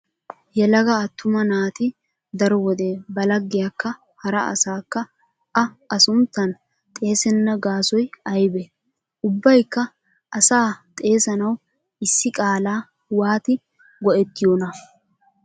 Yelaga attuma naati daro wode ba laggiyakka hara asaakka a a sunttan xeesenna gaasoy aybee? Ubbaykka asaa xeesanawu issi qaalaa waati go'ettiyonaa?